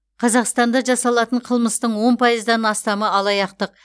қазақстанда жасалатын қылмыстың он пайыздан астамы алаяқтық